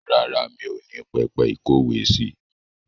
Rárá, mi ò ní pẹpẹ ìkówèésí.